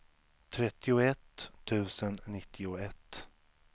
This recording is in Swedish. trettioett tusen nittioett